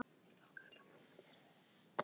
Enginn vissi hvað á undan hafði gengið.